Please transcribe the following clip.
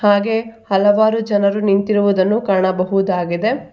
ಹಾಗೆ ಹಲವಾರು ಜನರು ನಿಂತಿರುವುದನ್ನು ಕಾಣಬಹುದಾಗಿದೆ.